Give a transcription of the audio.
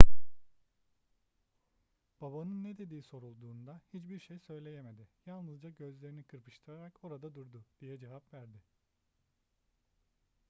babanın ne dediği sorulduğunda hiçbir şey söyleyemedi yalnızca gözlerini kırpıştırarak orada durdu diye cevap verdi